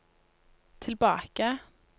tilbake